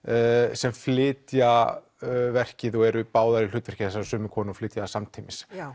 sem flytja verkið og eru báðar í hlutverki þessarar sömu konu og flytja það samtímis já